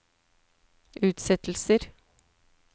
utsettelser